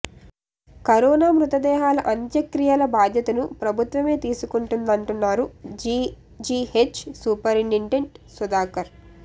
corona మృతదేహాల అంత్యక్రియల బాధ్యతను ప్రభుత్వమే తీసుకుంటుందంటున్నారు జీజీహెచ్ సూపరింటెండెంట్ సుధాకర్